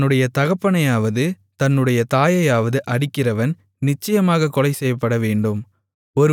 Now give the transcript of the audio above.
தன்னுடைய தகப்பனையாவது தன்னுடைய தாயையாவது அடிக்கிறவன் நிச்சயமாகக் கொலைசெய்யப்படவேண்டும்